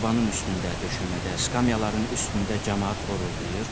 Sobanın üstündə, döşəmədə, skamyaların üstündə camaat xoruldayır.